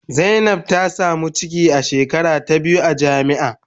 Zainab ta samu ciki a shekara ta biyu a jami'a.